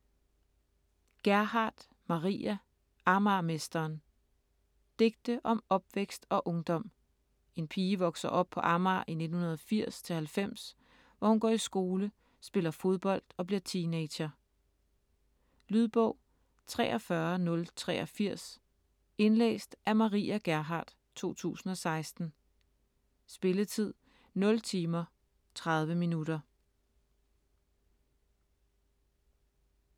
Gerhardt, Maria: Amagermesteren Digte om opvækst og ungdom. En pige vokser op på Amager i 1980-90, hvor hun går i skole, spiller fodbold og bliver teenager. Lydbog 43083 Indlæst af Maria Gerhardt, 2016. Spilletid: 0 timer, 30 minutter.